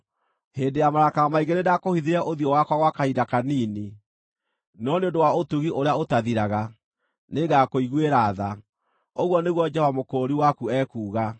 Hĩndĩ ya marakara maingĩ nĩndakũhithire ũthiũ wakwa gwa kahinda kanini, no nĩ ũndũ wa ũtugi ũrĩa ũtathiraga, nĩngakũiguĩra tha,” ũguo nĩguo Jehova Mũkũũri waku ekuuga.